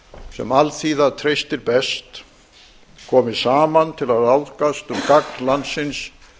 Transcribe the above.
sem alþýða treystir bezt komi saman til að ráðgast um gagn landsins